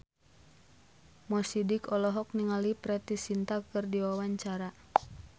Mo Sidik olohok ningali Preity Zinta keur diwawancara